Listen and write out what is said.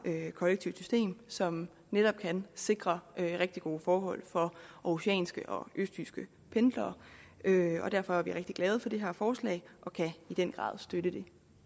kollektivt system som netop kan sikre rigtig gode forhold for aarhusianske og østjyske pendlere derfor er vi rigtig glade for det her forslag og kan i den grad støtte det